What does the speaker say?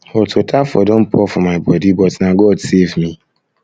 hot water um for don pour for my body but na god um save me